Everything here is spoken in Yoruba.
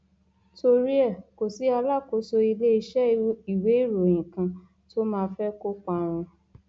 torí ẹ kò sí alákòóso iléeṣẹ ìwéèròyìn kan tó máa fẹ kó parun